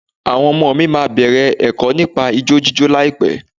Àwọn ọmọ mi máa bẹ̀rẹ̀ ẹ̀kọ́ nípa ijó jíjó láìpẹ́.